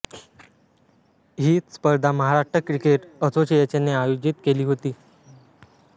ही स्पर्धा महाराष्ट्र क्रिकेट असोसिएशनने आयोजित केली होती